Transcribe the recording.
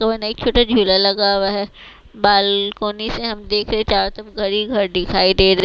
तो नई एक छोटा झूला लगा हुआ है बालकोनी से हम देख रहे चारो तरफ घर ही घर दिखाई दे--